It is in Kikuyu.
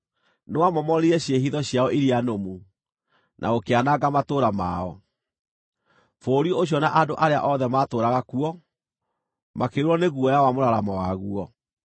Nĩwamomorire ciĩhitho ciao iria nũmu, na ũkĩananga matũũra mao. Bũrũri ũcio na andũ arĩa othe maatũũraga kuo, makĩiyũrwo nĩ guoya wa mũraramo waguo.